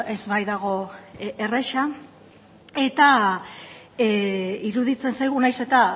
ez baitago erraza eta iruditzen zaigu nahiz eta